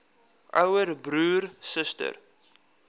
ouer broer suster